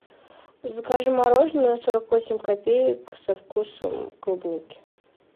закажи мороженое сорок восемь копеек со вкусом клубники